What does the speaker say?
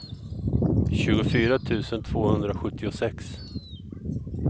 tjugofyra tusen tvåhundrasjuttiosex